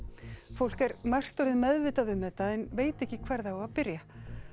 fólk er margt orðið meðvitað um þetta en veit ekki hvar á að byrja